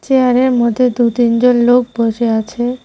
চেয়ারের মধ্যে দু'তিনজন লোক বসে আছে।